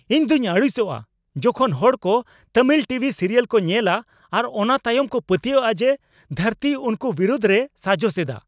ᱤᱧᱫᱩᱧ ᱟᱹᱲᱤᱥᱚᱜᱼᱟ ᱡᱚᱠᱷᱚᱱ ᱦᱚᱲ ᱠᱚ ᱛᱟᱹᱢᱤᱞ ᱴᱤ ᱵᱷᱤ ᱥᱤᱨᱤᱭᱟᱞ ᱠᱚ ᱧᱮᱞᱼᱟ ᱟᱨ ᱚᱱᱟ ᱛᱟᱭᱚᱢ ᱠᱚ ᱯᱟᱹᱛᱭᱟᱹᱣᱚᱜᱼᱟ ᱡᱮ ᱫᱷᱟᱹᱨᱛᱤ ᱩᱱᱠᱚ ᱵᱤᱨᱩᱫᱷ ᱨᱮᱭ ᱥᱟᱡᱚᱥ ᱮᱫᱟ ᱾